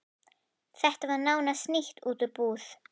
Þetta var nánast nýtt út úr búð.